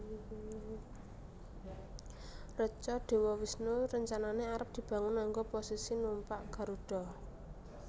Reca Dewa Wisnu rencanane arep dibangun nganggo posisi numpak Garuda